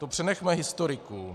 To přenechme historikům.